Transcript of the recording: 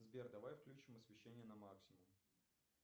сбер давай включим освещение на максимум